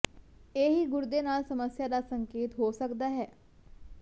ਇਹ ਹੀ ਗੁਰਦੇ ਨਾਲ ਸਮੱਸਿਆ ਦਾ ਸੰਕੇਤ ਹੋ ਸਕਦਾ ਹੈ